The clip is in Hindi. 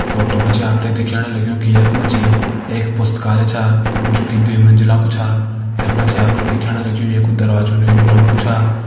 फोटो में जी आप तैं दिखेणु लग्युं कि यख मा जी एक पुस्तकालय छा जू की दुई मंजिला कू छा यख मा जा आप तैं दिखेणालग्युं ये कू दरवाजू नीलू रंग कु छ।